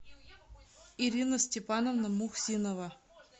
ирина степановна мухсинова